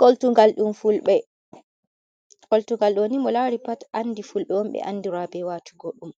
Koltugal ɗum Fulɓe, koltugal ɗooni, mo laari pat andi Fulɓe on ɓe andiraa bee waatungo ɗum.